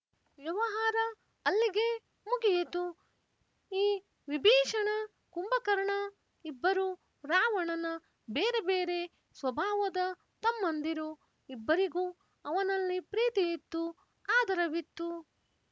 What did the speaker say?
ವ್ಯವಹಾರ ಅಲ್ಲಿಗೆ ಮುಗಿಯಿತು ಇ ವಿಭೀಷಣ ಕುಂಭಕರ್ಣ ಇಬ್ಬರೂ ರಾವಣನ ಬೇರೆ ಬೇರೆ ಸ್ವಭಾವದ ತಮ್ಮಂದಿರು ಇಬ್ಬರಿಗೂ ಅವನಲ್ಲಿ ಪ್ರೀತಿಯಿತ್ತು ಆದರವಿತ್ತು